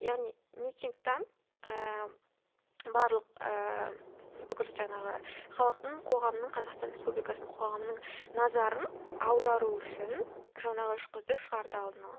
яғни митингтен ііі барлық ііі бүкіл жаңағы халықтың қоғамның қазақстан республикасының қоғамының назарын аудару үшін жаңағы үш қызды шығарды алдын ала